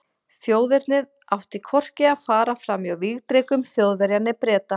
Þjóðernið átti hvorki að fara fram hjá vígdrekum Þjóðverja né Breta.